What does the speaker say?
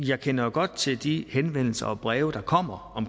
jeg kender jo godt til de henvendelser og breve der kommer i